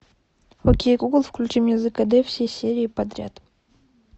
окей гугл включи мне зкд все серии подряд